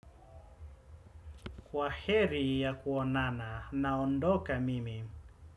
Kwaheri ya kuonana naondoka mimi.